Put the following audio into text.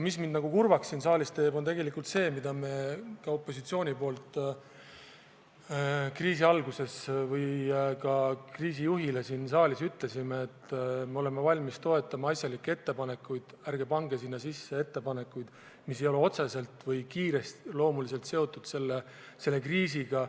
Mis mind praegu väga kurvaks teeb, on aga tegelikult see, et opositsioon ütles kriisi alguses kriisijuhile ka siin saalis, et me oleme valmis toetama asjalikke ettepanekuid, ent ärge pange sinna sisse ettepanekuid, mis ei ole otseselt või kiireloomuliselt seotud selle kriisiga.